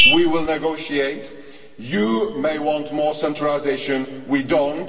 We will negotiate you may want more centralisation, we do not.